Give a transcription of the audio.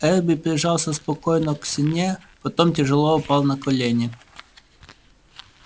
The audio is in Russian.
эрби прижался спокойно к стене потом тяжело упал на колени